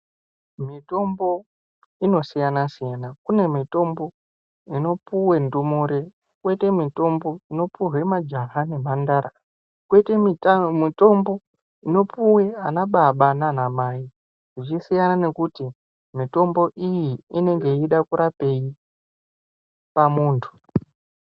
Mitombo inosiyana siyana kune mitombo inopuwa ndumure koite mitombo inopuhwe majaha nemhandara koite mitombo inopuwe anababa nanamai zvichisiyana nekuti mitombo iyi inenge yeida kurapei pamuntu.